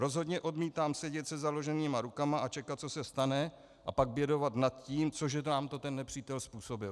Rozhodně odmítám sedět se založenýma rukama a čekat, co se stane, a pak bědovat nad tím, co nám to ten nepřítel způsobil.